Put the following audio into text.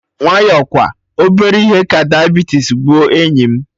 Nwayọ kwa, obere ihe ka diabetes gbuo enyi m